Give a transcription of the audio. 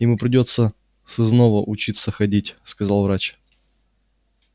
ему придётся сызнова учиться ходить сказал врач